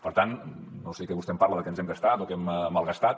per tant no sé de què vostè em parla que ens hem gastat o que hem malgastat